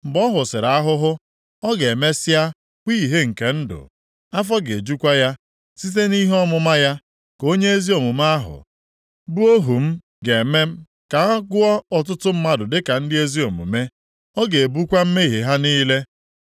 Mgbe ọ hụsịrị ahụhụ, ọ ga-emesịa hụ ìhè nke ndụ, afọ ga-ejukwa ya, site nʼihe ọmụma ya, ka onye ezi omume ahụ, bụ ohu m ga-eme ka a gụọ ọtụtụ mmadụ dịka ndị ezi omume, ọ ga-ebukwa mmehie ha niile.